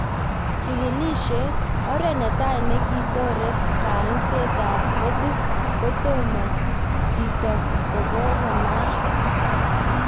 Chigilishet:Oret netai nekitoree kaimset ap metit kotomono chito kokokonaak